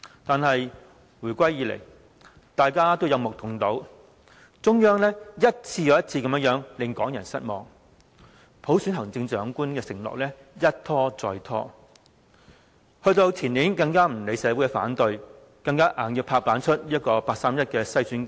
但是，回歸以來，大家都有目共睹，中央一次又一次令港人失望，普選行政長官的承諾一拖再拖，前年更不理社會反對，強行推出八三一篩選框架。